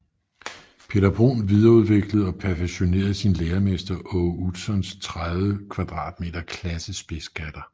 Peter Bruun videreudviklede og perfektionerede sin læremester Aage Utzons 30 m2 klassespidsgatter